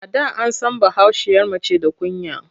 A da an san bahaushiyar mace da kunya.